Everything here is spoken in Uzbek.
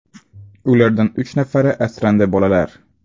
Ulardan uch nafari asrandi bolalar.